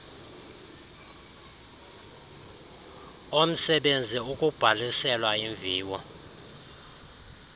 omsebenzi ukubhalisela iimviwo